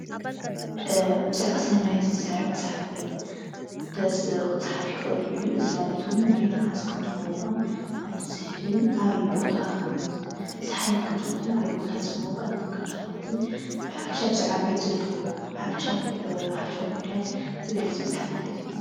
ብዛዕባ ስነ መሬት ዝዛረብ መፅሓፍ ክፀሓፍ ይእኽል እዩ። እዚ ማለት እውን መሬት መዓዝ ከም ትመውቅን ከም ትዝሕልን ኣብይ ቦታ ከም ዝዝሓለት ከም ዝኾነትን ኣበይ ቦታ ዝሞወቀት ከም ዝኾነትን ብሓፈሻ ብዛዕባ መሬት ዘለቶ ሓፈሻዊ ጉዳያት ዝገልፅ መፅሓፍ ማለት እዩ።